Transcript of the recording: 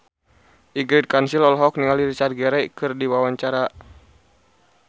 Ingrid Kansil olohok ningali Richard Gere keur diwawancara